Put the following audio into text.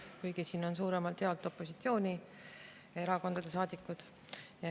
Kuigi siin on suuremalt jaolt opositsioonierakondade saadikud.